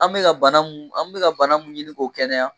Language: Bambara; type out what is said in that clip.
An mi ka bana mun, an mi ka bana mun ɲini k'o kɛnɛya